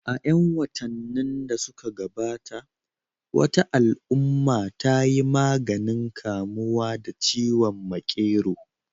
A 'yan watannin da suka gabata, wata al'umma ta yi maganin kamuwa da ciwon makero